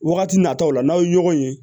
Wagati nataw la n'aw ye ɲɔgɔn ye